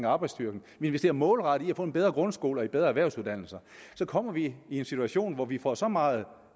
arbejdsstyrken investerer målrettet i få en bedre grundskole og bedre erhvervsuddannelser så kommer vi i en situation hvor vi får så meget